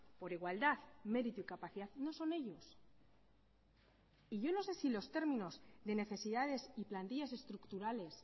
por igualdad mérito y capacidad no son ellos y yo no sé si los términos de necesidades y plantillas estructurales